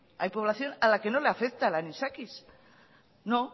hay población a la que no le afecta el anisakis no